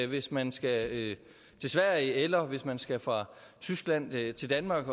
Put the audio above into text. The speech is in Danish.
hvis man skal til sverige eller grænsekontrol hvis man skal fra tyskland til danmark